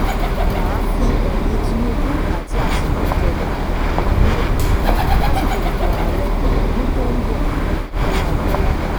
má a fi eyín tinubu àti àtikukú janlẹ̀ lásìkò ìbò ààrẹ ọdún tó ń bọ̀- kọ́lá abiola